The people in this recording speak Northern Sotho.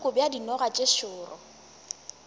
bohloko bja dinoga tše šoro